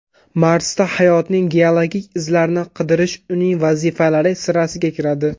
Marsda hayotning geologik izlarini qidirish uning vazifalari sirasiga kiradi.